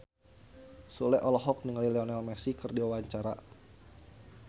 Sule olohok ningali Lionel Messi keur diwawancara